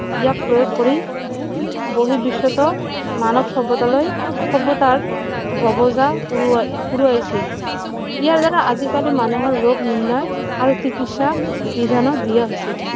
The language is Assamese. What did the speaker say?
ইয়াক প্ৰয়োগ কৰি বঢ়ি বিশ্বতো মানৱ সভ্যতালৈ সভ্যতাৰ উৰুৱাই উৰুৱাইছে ইয়াৰ দ্বাৰা আজি কালি মানুহৰ ৰোগ নিৰ্ণয় আৰু চিকিৎসা বিধানো দিয়া হৈছে